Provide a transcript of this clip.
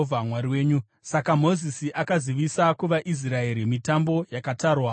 Saka Mozisi akazivisa kuvaIsraeri mitambo yakatarwa yaJehovha.